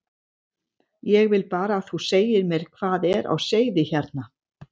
Ég vil bara að þú segir mér hvað er á seyði hérna.